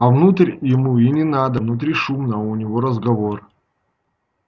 а внутрь ему и не надо внутри шумно а у него разговор